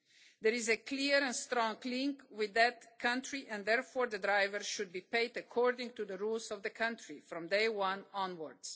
There is a clear and strong link with that country and, therefore, the drivers should be paid according to the rules of the country from day one onwards.